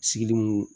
Sigili mun